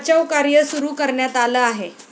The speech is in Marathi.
बचाव कार्य सुरू करण्यात आलं आहे.